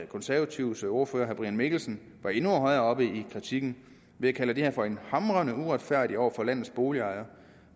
konservatives ordfører herre brian mikkelsen var endnu højere oppe i kritikken ved at kalde det her for hamrende uretfærdigt over for landets boligejere